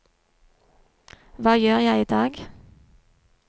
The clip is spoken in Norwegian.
hva gjør jeg idag